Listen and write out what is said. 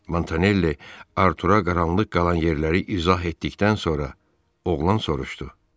Montanelli Artura qaranlıq qalan yerləri izah etdikdən sonra, oğlan soruşdu.